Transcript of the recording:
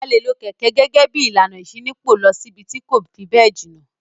A le lo kẹ̀kẹ́ gẹ́gẹ́ bí ìlànà ìṣínípò lọ síbi tí kò fi bẹ́ẹ̀ jìnà.